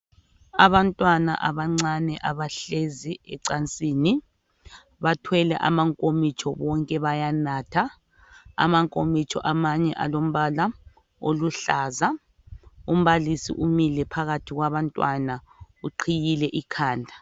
Abantwana abancane abahlezi encasini bathwele amankomitsho bonke bayanatha amankomitsho amanye alombala oluhlaza, umbalisi umile phakathi kwabantwana uqhiyile ikhanda.